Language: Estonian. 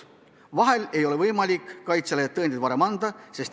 Vahel ei ole võimalik kaitsjale tõendeid varem anda.